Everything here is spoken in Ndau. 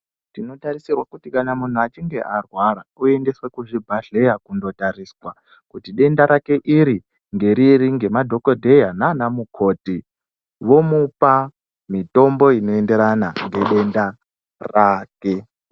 Tinotarisirwa kuti kana muntu achinge arwara aendeswe kuzvibhadhleya kundotariswa. Kuti dendarake iri ngeriri ngemadhogodheya nana mukoti vomupa mitombo inoendera ngedenda rake.